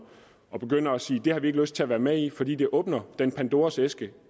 og begynder at sige at det har vi ikke lyst til at være med i fordi det åbner den pandoras æske